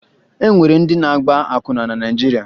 E nwere ndị na-agba akwụna na Naịjirịa